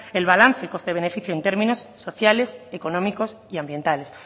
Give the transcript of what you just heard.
el balance coste beneficio en términos sociales económicos y ambientales